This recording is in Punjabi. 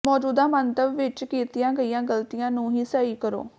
ਮੌਜੂਦਾ ਮੰਤਵ ਵਿੱਚ ਕੀਤੀਆਂ ਗਈਆਂ ਗਲਤੀਆਂ ਨੂੰ ਹੀ ਸਹੀ ਕਰੋ